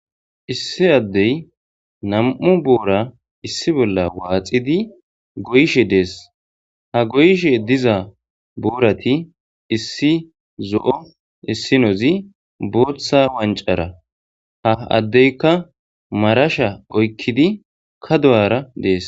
Issi addey nam'u boora issi bolla waaxidi goyishe dees ha goyishe diza boorati issi zo'o issinozi booththa wancara ha addeyka marasha oykkidi ka du'ara dees.